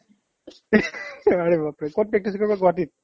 আৰে বাপৰে ক'ত practice কৰিবা গুৱাহাটীত